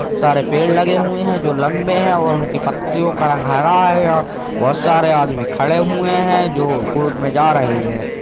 सारे पेड़ लगे हुए हैं जो लम्बे हैं और उनके पत्तियों का रंग हरा है यह बहुत सारे आदमी खड़े हुए हैं जो कोर्ट में जा रहे हैं |